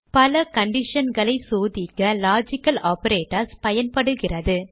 பல conditionகளை சோதிக்க லாஜிக்கல் ஆப்பரேட்டர்ஸ் பயன்படுகிறது